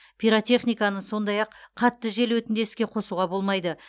пиротехниканы сондай ақ қатты жел өтінде іске қосуға болмайды